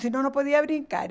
Se não, não podia brincar.